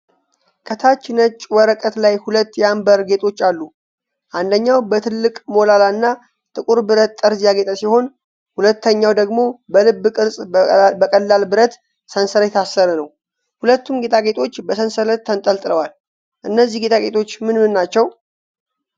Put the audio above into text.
ከታች ነጭ ወረቀት ላይ ሁለት የአምበር ጌጣጌጦች አሉ። አንደኛው በትልቅ ሞላላ እና ጥቁር ብረት ጠርዝ ያጌጠ ሲሆን፣ ሁለተኛው ደግሞ በልብ ቅርጽ በቀላል ብረት ሰንሰለት የታሰረ ነው። ሁለቱም ጌጣጌጦች በሰንሰለት ተንጠልጥለዋል። እነዚህ ጌጣጌጦች ምንምን ናቸው?